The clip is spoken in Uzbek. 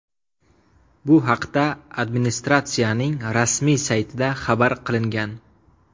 Bu haqda administratsiyaning rasmiy saytida xabar qilingan .